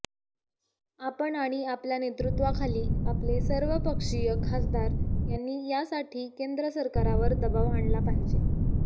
आपण आणि आपल्या नेतृत्वाखाली आपले सर्वपक्षीय खासदार यांनी यासाठी केंद्र सरकारवर दबाव आणला पाहिजे